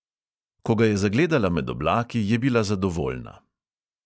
Ko ga je zagledala med oblaki, je bila zadovoljna.